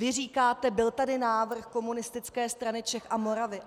Vy říkáte: Byl tady návrh Komunistické strany Čech a Moravy.